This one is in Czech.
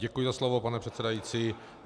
Děkuji za slovo pane předsedající.